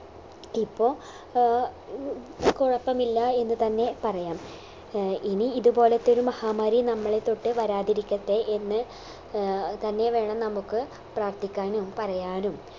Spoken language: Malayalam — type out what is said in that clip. ഇപ്പൊ ഏർ ഉം കുഴപ്പമില്ല എന്ന് തന്നെ പറയാം ഏർ ഇനി ഇത്പോലത്തൊരു മഹാമാരി നമ്മളെത്തൊട്ട് വരാതിരിക്കട്ടെ എന്ന് ഏർ തന്നെ വേണം നമുക്ക് പ്രാർത്ഥിക്കാനും പറയാനും